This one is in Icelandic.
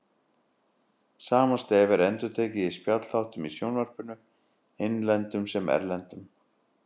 Sama stef er endurtekið í spjallþáttum í sjónvarpinu, innlendum sem erlendum.